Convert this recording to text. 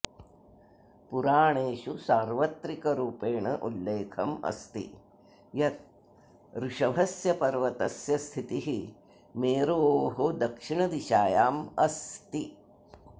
पुराणेषु सार्वत्रिक रूपेण उल्लेखमस्ति यत् ऋषभस्य पर्वतस्य स्थितिः मेरोः दक्षिण दिशायां अस्ति